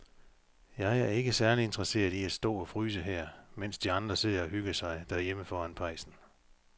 Jeg er ikke særlig interesseret i at stå og fryse her, mens de andre sidder og hygger sig derhjemme foran pejsen.